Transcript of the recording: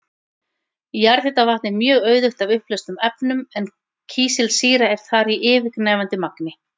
Jarðhitavatn er mjög auðugt af uppleystum efnum en kísilsýra er þar í yfirgnæfandi magni.